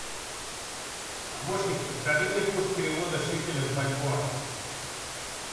помощник подскажи мне курс перевода шекелей в бальбоа